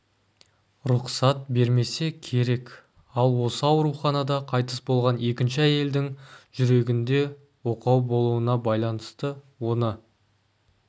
рұқсат бермесе керек ал осы ауруханада қайтыс болған екінші әйелдің жүрегінде оқау болуына байланысты оны